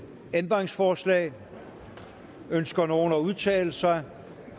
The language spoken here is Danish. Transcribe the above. ændringsforslag ønsker nogen at udtale sig